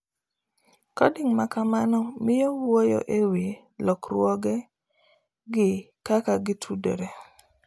Coding ma kamano miyo wuoyo e wi lokruoge, gi kaka gitudore